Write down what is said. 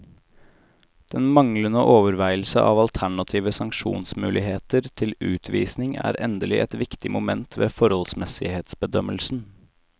Den manglende overveielse av alternative sanksjonsmuligheter til utvisning er endelig et viktig moment ved forholdsmessighetsbedømmelsen.